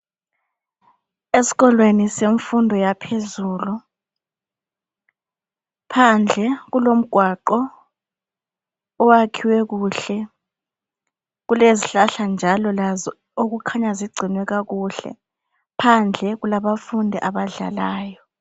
Esikolweni semfundo yaphezulu phandle kulomgwaqo owakhiwe kuhle kulezihlahla njalo ezikhanya zigcinwe kakuhle phandle kulabafundi abadlalayo